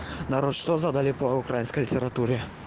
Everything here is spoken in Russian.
народ что задали по украинской литературе